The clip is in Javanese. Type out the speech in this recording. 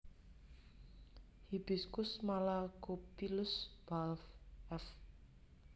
Hibiscus malacophyllus Balf f